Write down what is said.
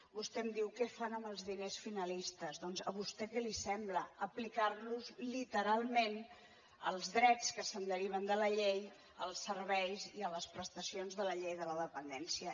vostè em diu què fan amb els diners finalistes doncs a vostè què li sembla aplicar·los literalment als drets que se’n deriven de la llei als serveis i a les prestacions de la llei de la dependència